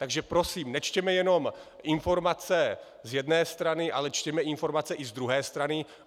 Takže prosím, nečtěme jenom informace z jedné strany, ale čtěme informace i z druhé strany.